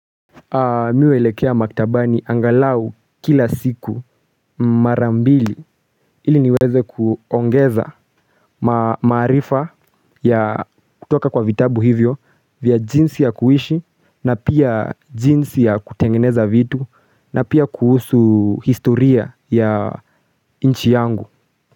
Mi huelekea maktabani angalau kila siku mara mbili ili niweze kuongeza maarifa ya kutoka kwa vitabu hivyo vya jinsi ya kuishi na pia jinsi ya kutengeneza vitu na pia kuhusu historia ya nchi yangu.